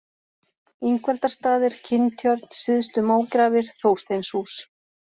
Ingveldarstaðir, Kinntjörn, Syðstu-Mógrafir, Þórsteinshús